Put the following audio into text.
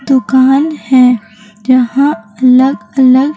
दुकान है जहां अलग अलग--